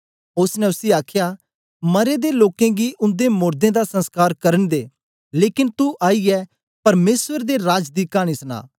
ओसने उसी आखया मरें दे लोकें गी उन्दे मोड़दें दा संस्कार करन दे लेकन तू आईयै परमेसर दे राज दी कानी सना